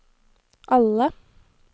alle